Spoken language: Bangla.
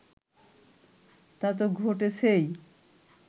তা তো ঘটেছেই